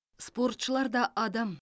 спортшылар да адам